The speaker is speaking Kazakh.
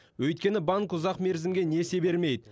өйткені банк ұзақ мерзімге несие бермейді